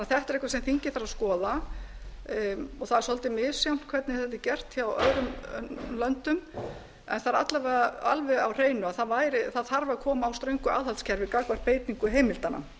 þetta er eitthvað sem þingið þarf að skoða það er svolítið misjafnt hvernig þetta er gert hjá öðrum löndum en það er alla vega alveg á hreinu að það þarf að koma á ströngu aðhaldskerfi gagnvart beitingu heimildanna